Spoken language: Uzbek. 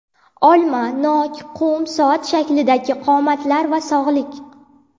Olma, nok, qum soat shaklidagi qomatlar va sog‘liq.